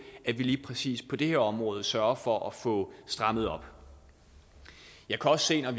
at vi lige præcis på det her område sørger for at få strammet op jeg kan også se når